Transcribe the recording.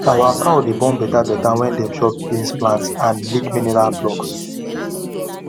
our cow dey born beta beta when dem chop beans plant and lick mineral blocks